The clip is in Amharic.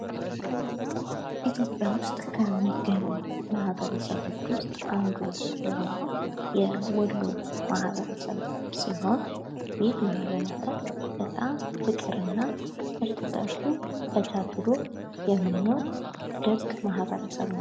ኢትዮጵያ ዉስጥ ከሚገኙ ማህበረሰቦች ዉስጥ አንዱ የሆነዉ የወሎ ማህበረሰብ ሲሆን ይህ ማህበረሰብ በጣም ፍቅር እና ርስ በርሱ ተቻችሎ የሚኖር ድንቅ ማህበረሰብ ነዉ።